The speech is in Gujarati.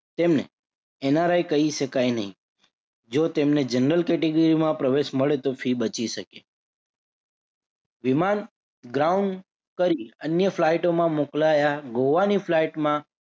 તેમને NRI કહી શકાય નહિ. જો તેમને general category માં પ્રવેશ મળે તો ફી બચી શકે. વિમાન ground કરી અન્ય ફ્લાઇટોમાં મોકલાયા ગોઆની flight માં